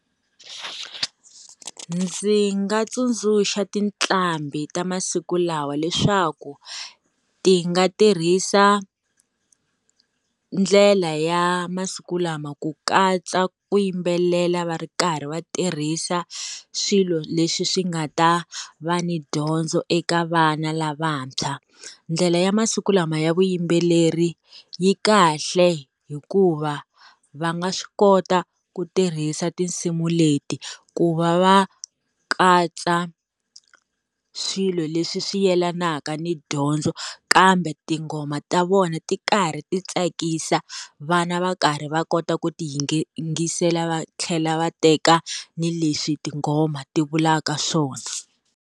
Ndzi nga tsundzuxa tinqambi ta masiku lawa leswaku, ti nga tirhisa, ndlela ya masiku lama ku katsa ku yimbelela va ri karhi va tirhisa swilo leswi swi nga ta va ni dyondzo eka vana lavantshwa. Ndlela ya masiku lama ya vuyimbeleri yi kahle hikuva va nga swi kota ku tirhisa tinsimu leti ku va va katsa swilo leswi swi yelanaka ni dyondzo, kambe tinghoma ta vona ti karhi ti tsakisa, vana va karhi va kota ku ti yingisela va tlhela va teka ni leswi tingoma ti vulaka swona.